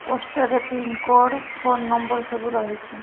Poster ରେ pin code phone number ସବୁ ରହିଛି।